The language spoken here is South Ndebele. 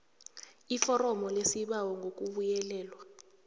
iforomo lesibawo ngokubuyelelwe